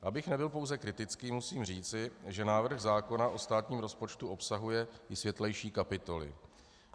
Abych nebyl pouze kritický, musím říci, že návrh zákona o státním rozpočtu obsahuje i světlejší kapitoly.